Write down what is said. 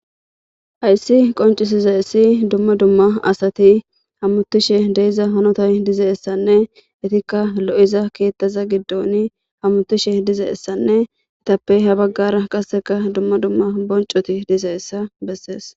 Haysi qonc'isizaysi duma duma asati hametishe de'za hanotay dizaysane etika lo'za keta gidon hamutishe dizaysanne etape ha bagara qaseka duma duma bonc'oti dizaysa beses.